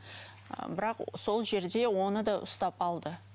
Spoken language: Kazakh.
ы бірақ сол жерде оны да ұстап алды